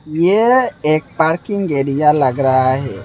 यह एक parking area लग रहा है।